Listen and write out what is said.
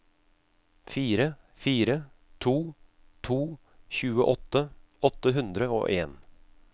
fire fire to to tjueåtte åtte hundre og en